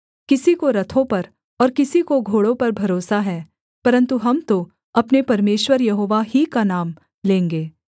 किसी को रथों पर और किसी को घोड़ों पर भरोसा है परन्तु हम तो अपने परमेश्वर यहोवा ही का नाम लेंगे